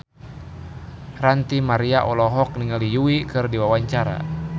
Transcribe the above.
Ranty Maria olohok ningali Yui keur diwawancara